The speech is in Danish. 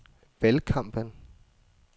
valgkampen